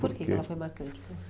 Por que que ela foi marcante para você?